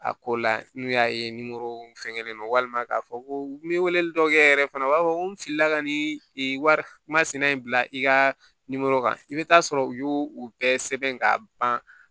A ko la n'u y'a ye fɛngɛlen don walima k'a fɔ ko n bɛ wele dɔ kɛ yɛrɛ fana u b'a fɔ n filila ka nin wari masina in bila i ka kan i bɛ taa sɔrɔ u y'o u bɛɛ sɛbɛn ka ban